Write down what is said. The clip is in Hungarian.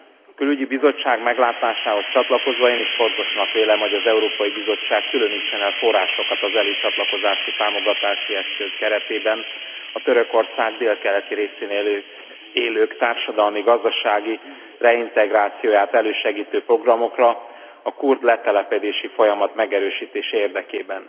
A Külügyi Bizottság meglátásához csatlakozva én is fontosnak vélem, hogy az Európai Bizottság különítsen el forrásokat az Előcsatlakozási Támogatási Eszköz keretében a Törökország délkeleti részén élők társadalmi gazdasági reintegrációját elősegítő programokra a kurd letelepedési folyamat megerősítése érdekében.